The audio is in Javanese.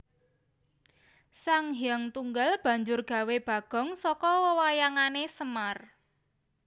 Sanghyang Tunggal banjur gawé bagong saka wewayangané Semar